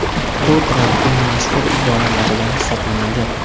Bu Trampning mashhur iboralaridan hisoblanadi.